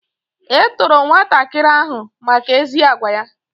E toro nwatakịrị ahụ maka ezi agwa ya